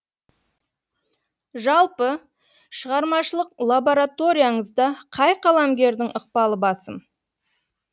жалпы шығармашылық лабораторияңызда қай қаламгердің ықпалы басым